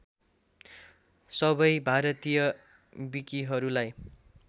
सबै भारतीय विकीहरूलाई